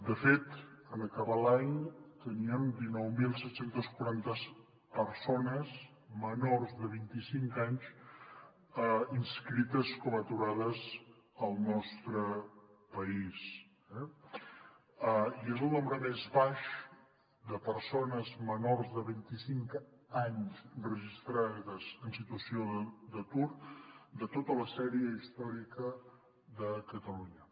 de fet en acabar l’any teníem dinou mil set cents i quaranta persones menors de vint i cinc anys inscrites com a aturades al nostre país i és el nombre més baix de persones menors de vint i cinc anys registrades en situació d’atur de tota la sèrie històrica de catalunya